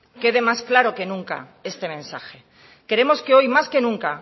quede más claro que nuca este mensaje queremos que hoy más que nunca